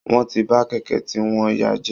Wọ́n ti ba kẹ̀kẹ́ tí wọ́n yá jẹ́